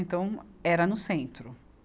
Então, era no centro.